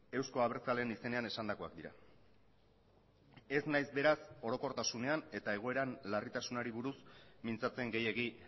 euzko abertzaleen izenean esandakoak dira ez naiz beraz orokortasunean eta egoeran larritasunari buruz mintzatzen gehiegi